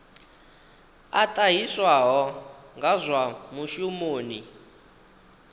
a ṱahiswaho nga zwa mushumoni